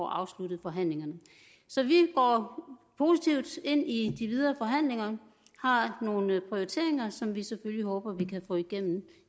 afsluttet forhandlingerne så vi går positivt ind i de videre forhandlinger vi har nogle prioriteringer som vi selvfølgelig håber vi kan få igennem